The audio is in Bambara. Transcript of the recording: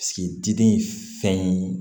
diden ye fɛn ye